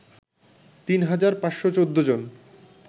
তিন হাজার ৫১৪ জন